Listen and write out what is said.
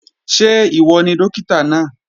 Ṣé ìwọ ni Dókítà náà?